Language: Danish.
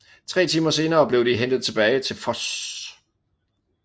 Tre timer senere blev de hentet tilbage til Voss